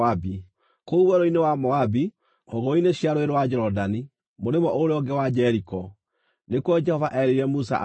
Kũu werũ-inĩ wa Moabi hũgũrũrũ-inĩ cia Rũũĩ rwa Jorodani mũrĩmo ũrĩa ũngĩ wa Jeriko, nĩkuo Jehova erĩire Musa atĩrĩ,